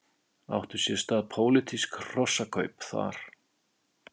Áttu sér stað pólitísk hrossakaup þar?